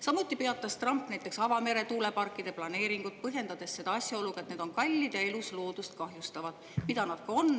Samuti peatas Trump avamere tuuleparkide planeeringud, põhjendades seda asjaoluga, et need on kallid ja elusloodust kahjustavad, mida nad ka on.